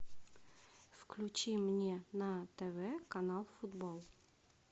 включи мне на тв канал футбол